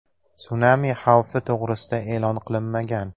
Sunami xavfi to‘g‘risida e’lon qilinmagan.